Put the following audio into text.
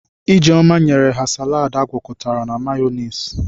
Ijeoma nyere ha saladi agwakọtara na mayọniisi.